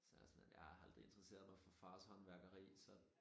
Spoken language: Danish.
Så jeg sådan lidt jeg har aldrig interesseret mig for fars håndværkeri så